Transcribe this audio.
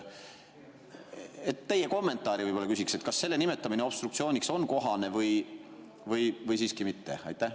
Küsiks teie kommentaari võib-olla, kas selle nimetamine obstruktsiooniks on kohane või siiski mitte.